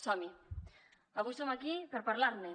som hi avui som aquí per parlar ne